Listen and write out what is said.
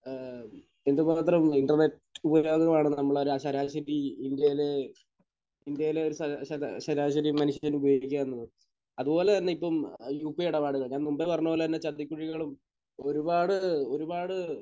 ഏഹ് എന്തുമാത്രം ഇന്റർനെറ്റ് ഉപകരണങ്ങളാണ് നമ്മൾ ഒരു ശരാശരി ഇന്ത്യയിൽ ഇന്ത്യയിൽ ഒരു ശര...ശര...ശരാശരി മനുഷ്യൻ ഉപയോഗിക്കുക എന്നത്. അതുപോലെ തന്നെ ഇപ്പോൾ ഉ.പി.ഐ ഇടപാടുകൾ. ഞാൻ മുൻപേ പറഞ്ഞത് പോലെ തന്നെ ചതിക്കുഴികളും ഒരുപാട് ഒരുപാട്